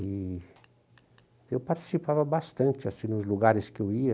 E eu participava bastante, assim, nos lugares que eu ia,